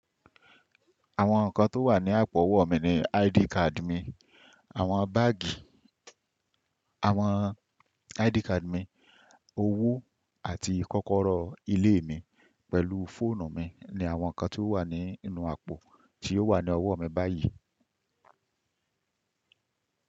Àwọn nǹkan tó wà ní àpò ọwọ́ mi ni ID card mi, àwọn báàgì, àwọn ID card mi, owó àti kọ́kọ́rọ́ ilé mi pẹ̀lú fóònù mi ni àwọn nǹkan tó wà nínú àpò tí ó wà ní ọwọ́ mi báyìí.